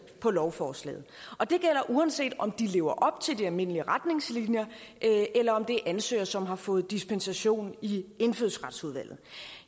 på lovforslaget og det gælder uanset om de lever op til de almindelige retningslinjer eller om det er ansøgere som har fået dispensation i indfødsretsudvalget